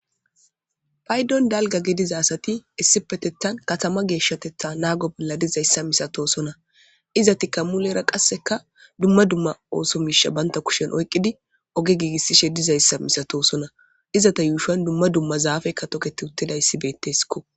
paydon dalga gedizasati issi petethan katama geeshshatetha naago bolla dizayssa misatosona iza ti ka mu lera qasseka dumma dumma oosomisha banta kushen oyqqidi oge giigissishe dizayssa misatosona izata yuushan dumma dumma zaafekka toketi uttidayssibetteskko